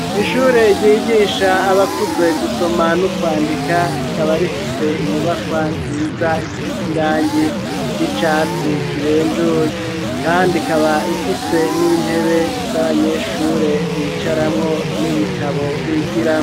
Mw'ishure ryigisha abakuze gusoma n'ukwandika rikaba rifise inyubakwa nziza isize irange ry'icatsi kibenjuye, kandi ikaba ifise n'intebe z'abanyeshure bicaramwo n'ibitabo bigira.